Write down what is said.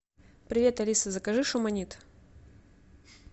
привет алиса закажи шуманит